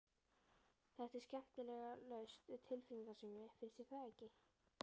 Þetta er skemmtilega laust við tilfinningasemi, finnst þér ekki?